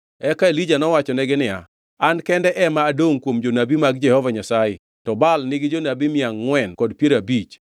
Eka Elija nowachonegi niya, “An kende ema adongʼ kuom jonabi mag Jehova Nyasaye to Baal nigi jonabi mia angʼwen kod piero abich.